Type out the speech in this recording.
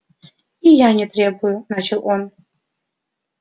и я не требую начал он